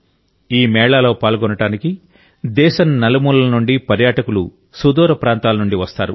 ఈ మేళాలో పాల్గొనడానికి దేశం నలుమూలల నుండి పర్యాటకులు సుదూర ప్రాంతాల నుండి వస్తారు